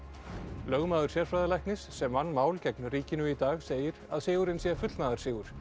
lögmaður sérfræðilæknis sem vann mál gegn ríkinu í dag segir að sigurinn sé fullnaðarsigur